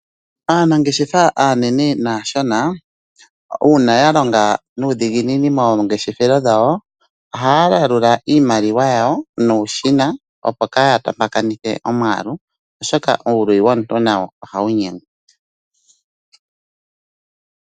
Aanangeshefa aanene naashona uuna ya longa nuudhiginini moongeshefelo dhawo ohaya yalula iimaliwa yawo nuushina, opo kaaya tompakanithe omwaalu, oshoka uuluyi womuntu nawo ohawu nyengwa.